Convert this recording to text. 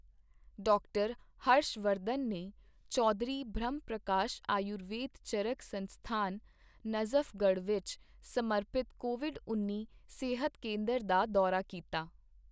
ਡਾ. ਹਰਸ਼ ਵਰਧਨ ਨੇ ਚੌਧਰੀ ਬ੍ਰਹਮ ਪ੍ਰਕਾਸ਼ ਆਯੁਰਵੇਦ ਚਰਕ ਸੰਸਥਾਨ, ਨਜ਼ਫਗੜ੍ਹ ਵਿੱਚ ਸਮਰਪਿਤ ਕੋਵਿਡ ਉੱਨੀ ਸਿਹਤ ਕੇਂਦਰ ਦਾ ਦੌਰਾ ਕੀਤਾ